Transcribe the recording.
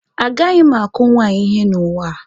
A gaghị m akụ nwaanyị ihe n'ụwa a.